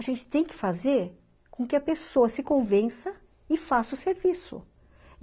A gente tem que fazer com que a pessoa se convença e faça o serviço.